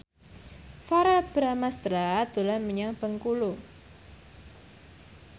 Verrell Bramastra dolan menyang Bengkulu